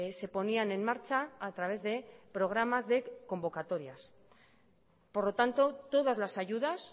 se ponían en marcha a través de programas de convocatorias por lo tanto todas las ayudas